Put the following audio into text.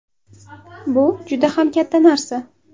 Bu juda ham katta narsa.